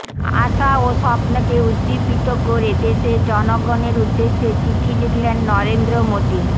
আশা ও স্বপ্নকে উজ্জীবিত করে দেশের জনগণের উদ্দেশে চিঠি লিখলেন নরেন্দ্র মোদী